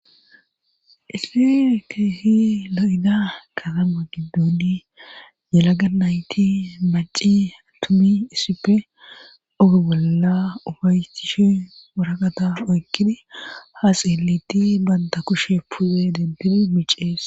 Issi keehi lo'ida katama gidduni yelaga nayti maci attumi issippe oge bolla ufaytchishi waraqata oykkidi haaseelitti banta kushe pude denbidi micees.